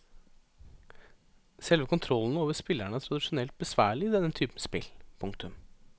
Selve kontrollene over spillerne er tradisjonelt besværlig i denne typen spill. punktum